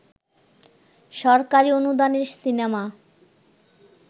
সরকারি অনুদানের সিনেমা